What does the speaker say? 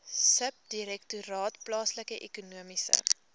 subdirektoraat plaaslike ekonomiese